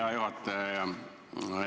Hea juhataja!